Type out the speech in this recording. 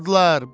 buradılar.